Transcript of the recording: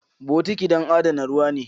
Bokiti don adana ruwa ne.